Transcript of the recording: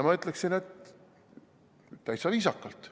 Ma ütleksin, et täitsa viisakalt.